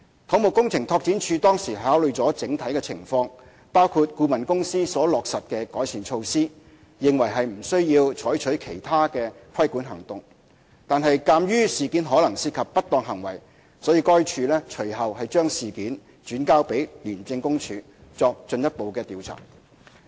土木工程拓展署當時考慮了整體情況，包括顧問公司所落實的改善措施，認為不需要採取其他規管行動；然而，鑒於事件可能涉及不當行為，該署隨後將事件轉交廉署作進一步調查。